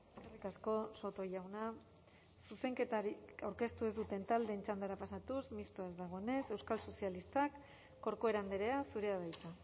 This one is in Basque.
eskerrik asko soto jauna zuzenketarik aurkeztu ez duten taldeen txandara pasatuz mistoa ez dagoenez euskal sozialistak corcuera andrea zurea da hitza